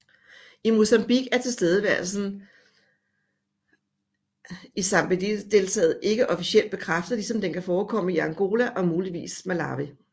I Mozambique er tilstedeværelsen i Zambezideltaet ikke officielt bekræftet ligesom den kan forekomme i Angola og muligvis Malawi